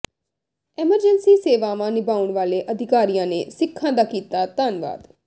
emergency ਸੇਵਾਵਾਂ ਨਿਭਾਉਣ ਵਾਲੇ ਅਧਿਕਾਰੀਆਂ ਨੇ ਸਿੱਖਾਂ ਦਾ ਕੀਤਾ ਧੰਨਵਾਦ